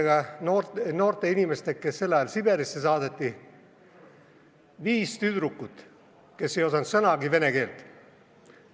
Ma olen rääkinud nende eesti inimestega, kes olid tol ajal noored, viis tüdrukut, kes ei osanud sõnagi vene keelt.